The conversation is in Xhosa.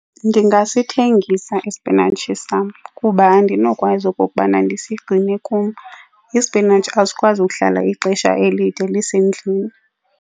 Ndingasithengisa ispinatshi sam kuba andinokwazi okokubana ndisigcine kum. Ispinatshi asikwazi ukuhlala ixesha elide lisendlini.